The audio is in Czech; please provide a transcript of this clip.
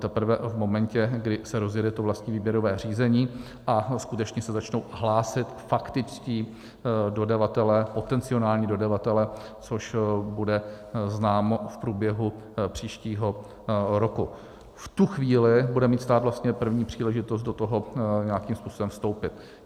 Teprve v momentě, kdy se rozjede to vlastní výběrové řízení a skutečně se začnou hlásit faktičtí dodavatelé, potenciální dodavatelé, což bude známo v průběhu příštího roku, v tu chvíli bude mít stát vlastně první příležitost do toho nějakým způsobem vstoupit.